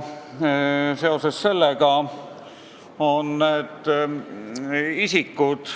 Siin eelnõus on mainitud ka need isikud: